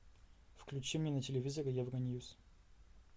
включи мне на телевизоре евроньюс